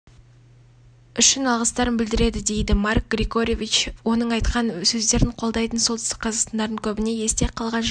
үшін алғыстарын білдіреді дейді марк григорьевич оның айтқан сөздерін қолдайтын солтүстік қазақстандықтардың көбіне есте қалған жылдың